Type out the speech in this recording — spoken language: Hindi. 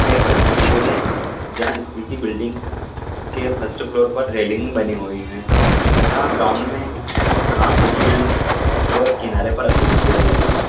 एक स्कूल है जहां स्कूल की बिल्डिंग के फर्स्ट फ्लोर पर रेलिंग बनी हुई है तथा ग्राउंड में घास उगी हुई है व किनारे पर अशोक के पेड़ लगे हैं।